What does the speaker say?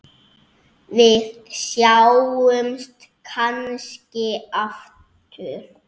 Við sjáumst kannski aftur.